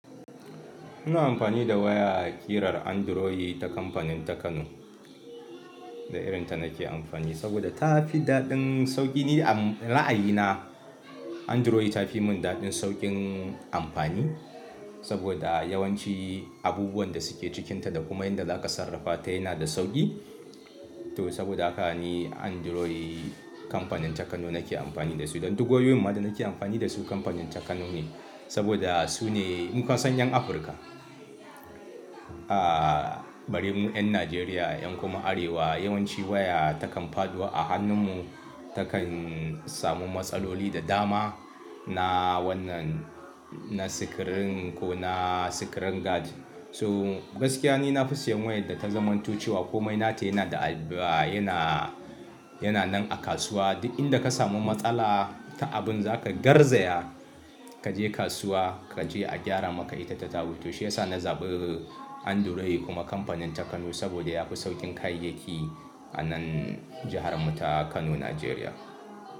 Ina amfani da waya kirar Android ta kamfanin Takano. Da irin ta nake amfani saboda ta fi daɗin sauki. Ni a la'ayina Android ta fi mun daɗin saukin amfani saboda yawanci abubuwan da suke cikinta da kuma inda za ka sarrafa ta yana da sauƙi. To saboda haka ni Android kamfanin Takano nake amfani da su. Don duk wayoyin ma da nake amfani da su kamfanin Takano ne saboda su ne, mun san 'yan Afrika. A bari mu 'yan Najeriya 'yan kuma arewa yawanci waya takan faɗo a hannun mu takan samu matsaloli da dama na wannan, na sikirin ko na sikirin gad. So gaskiya ne na fi siyan wayar da ta zamantocewa ko mainata yana da, yana, yana nan a kasuwa. Duk inda ka samu matsala ta abun za ka garzaya, ka je kasuwa ka je a gyara maka ita ta dabo. To shi ya sa na zaɓi Android kuma kamfanin Takano saboda yafi sauƙin kayayyaki a nan jihar mu ta Kano, Najeriya.